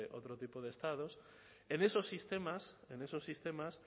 otro tipo de estados en esos sistemas en esos sistemas